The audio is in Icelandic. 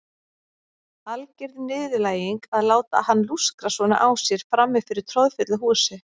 Alger niðurlæging að láta hann lúskra svona á sér frammi fyrir troðfullu húsi.